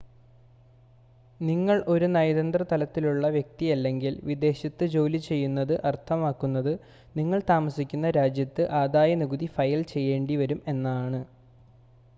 നിങ്ങൾ ഒരു നയതന്ത്ര തലത്തിലുള്ള വ്യക്തിയല്ലെങ്കിൽ വിദേശത്ത് ജോലി ചെയ്യുന്നത് അർത്ഥമാക്കുന്നത് നിങ്ങൾ താമസിക്കുന്ന രാജ്യത്ത് ആദായനികുതി ഫയൽ ചെയ്യേണ്ടിവരും എന്നാണ്